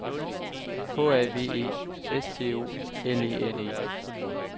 H A V E S T O L E N E